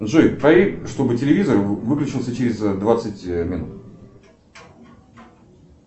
джой проверь чтобы телевизор выключился через двадцать минут